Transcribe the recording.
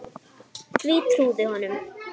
Því hún trúði honum.